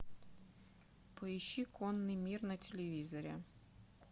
поищи конный мир на телевизоре